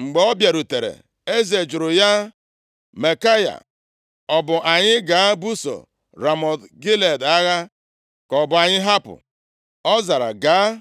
Mgbe ọ bịarutere, eze jụrụ ya, “Maikaya, ọ bụ anyị gaa buso Ramọt Gilead agha, ka ọ bụ anyị hapụ?” Ọ zara, “Gaa, ma